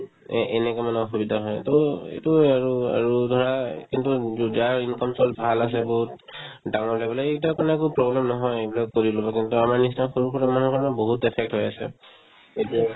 এ~ এনেকে মানে অসুবিধা হয় to এইটোয়ে আৰু আৰু ধৰা কিন্তু যো~ যাৰ income source ভাল আছে বহুত ডাঙৰকে বোলে এইকেইটাৰ কাৰণে আকৌ problem নহয় এইবিলাক কৰিলেও কিন্তু আমাৰ নিচিনা সৰু-সুৰা মানুহৰ কাৰণে বহুত affect হৈ আছে এইটোয়ে